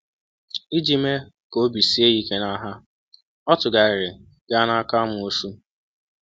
Iji mee ka obi sie ya ike n’agha, ọ tụgharịrị gaa n’aka amoosu.